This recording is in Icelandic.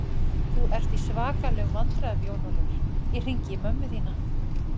Þú ert í svakalegum vandræðum Jón Ólafur, ég hringi í mömmu þína!